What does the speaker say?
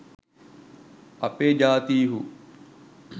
අපේ ජාතීහු